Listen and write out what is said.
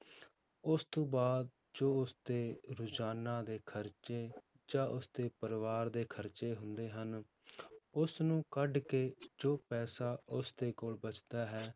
ਉਸ ਤੋਂ ਬਾਅਦ ਜੋ ਉਸਦੇ ਰੋਜ਼ਾਨਾ ਦੇ ਖ਼ਰਚੇ ਜਾਂ ਉਸਦੇ ਪਰਿਵਾਰ ਦੇ ਖ਼ਰਚੇ ਹੁੰਦੇ ਹਨ ਉਸਨੂੰ ਕੱਢ ਕੇ ਜੋ ਪੈਸਾ ਉਸਦੇ ਕੋਲ ਬਚਦਾ ਹੈ,